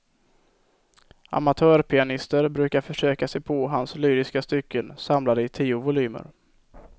Amatörpianister brukar försöka sig på hans lyriska stycken, samlade i tio volymer.